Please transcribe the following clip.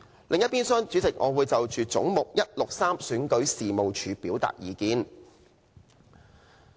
另一邊廂，主席，我會就"總目 163— 選舉事務處"表達意見。